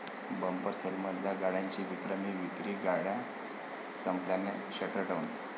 bumper सेलमधल्या गाड्यांची विक्रमी विक्री, गाड्या संपल्यानं 'शटरडाऊन'